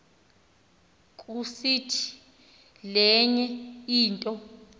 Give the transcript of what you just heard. kusiti lenye into